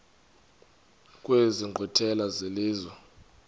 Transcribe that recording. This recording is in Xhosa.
kwezi nkqwithela zelizwe